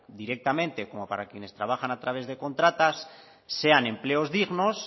directamente como para quienes trabajan a través de contratas sean empleos dignos